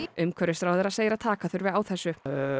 umhverfisráðherra segir að taka þurfi á þessu